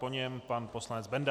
Po něm pan poslanec Benda.